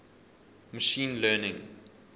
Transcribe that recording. machine learning